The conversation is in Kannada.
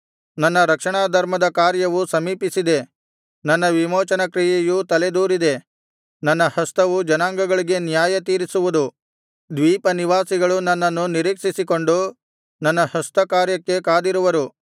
ನನ್ನ ರಕ್ಷಣಾಧರ್ಮದ ಕಾರ್ಯವು ಸಮೀಪಿಸಿದೆ ನನ್ನ ವಿಮೋಚನಕ್ರಿಯೆಯು ತಲೆದೋರಿದೆ ನನ್ನ ಹಸ್ತವು ಜನಾಂಗಗಳಿಗೆ ನ್ಯಾಯತೀರಿಸುವುದು ದ್ವೀಪನಿವಾಸಿಗಳು ನನ್ನನ್ನು ನಿರೀಕ್ಷಿಸಿಕೊಂಡು ನನ್ನ ಹಸ್ತಕಾರ್ಯಕ್ಕೆ ಕಾದಿರುವರು